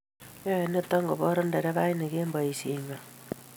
yoe nito koboor nderefainik eng boisiengwai